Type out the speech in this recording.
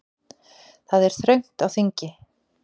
Það er þröngt á þingi